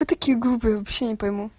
а такие группы я вообще не пойму